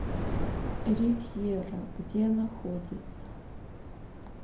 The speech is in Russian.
ривьера где находится